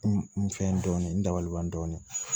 N fɛn dɔɔni n dabali ban dɔɔni